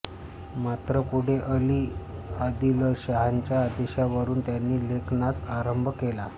मात्र पुढे अली आदिलशहांच्या आदेशावरून त्यांनी लेखनास आरंभ केला